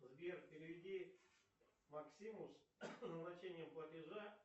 сбер переведи максиму с назначение платежа